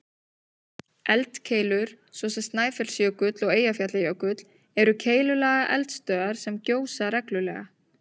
Eldkeilur, svo sem Snæfellsjökull og Eyjafjallajökull, eru keilulaga eldstöðvar sem gjósa reglulega.